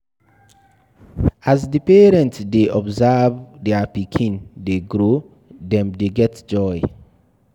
As di parent dey observe their pikin dey grow, dem dey get joy